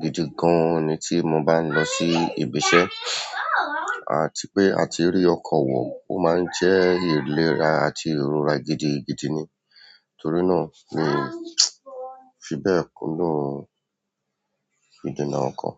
gidi gan ni tí mo bá ń lọ sí ibi iṣẹ́ àti pé a ti rí ọkọ̀ wò, ó máa ń jẹ́ ìlera àti ìrora gidigidi ni. Torí náà ni fi bẹ́ẹ̀ kúndùn ìdènà ọkọ̀.